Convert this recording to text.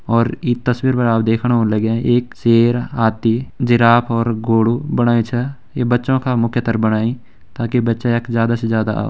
और ईं तस्वीर पर आप देखणा होला लग्यां एक शेर हाथी जिराफ और घोड़ु बणायुं छ ये बच्चों का मुख्यतर बणायिं ताकि बच्चा यख ज्यादा से ज्यादा औ --